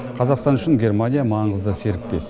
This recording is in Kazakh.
қазақстан үшін германия маңызды серіктес